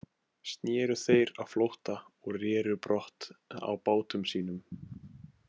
Sneru þeir á flótta og reru brott á bátum sínum.